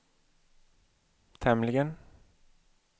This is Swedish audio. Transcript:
tämligen